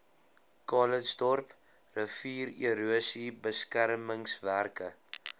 calitzdorp riviererosie beskermingswerke